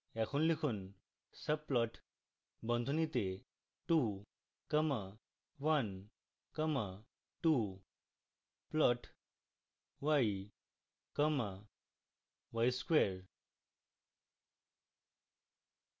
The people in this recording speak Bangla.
এখন লিখুন: subplot বন্ধনীতে 2 comma 1 comma 2